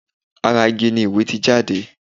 ará Igi ni ìwé ti jáde